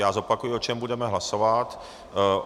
Já zopakuji, o čem budeme hlasovat.